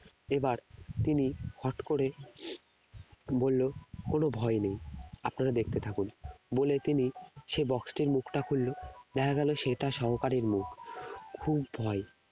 এবার তিনি হঠাৎ করে বললো কোন ভয় নেই আপনারা দেখতে থাকুন বলে তিনি সে box টির মুখটা খুললো দেখা গেল সে তার সহকারীর মুখ খুব ভয়